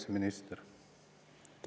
Kaitseminister!